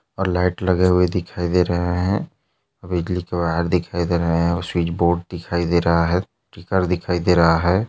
और लाइट लगे हुए दिखाई दे रहे है बिजली के वायर दिखाई दे रहे है और स्विच बोर्ड दिखाई दे रहा है घर दिखाई दे रहा है।